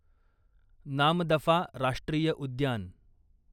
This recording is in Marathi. नामदफा राष्ट्रीय उद्यान